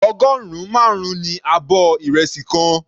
Ọgọrun marun ní abọ́ ìrẹsì kan.